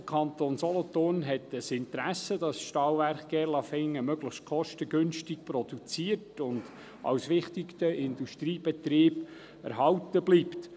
Der Kanton Solothurn hat ein Interesse daran, dass das Stahlwerk Gerlafingen möglichst kostengünstig produziert und als wichtiger Industriebetrieb erhalten bleibt.